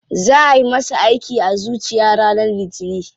Za ayi masa aiki a zuciya ranar litinin.